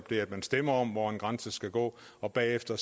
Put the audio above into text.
det at man stemte om hvor grænsen skulle gå og bagefter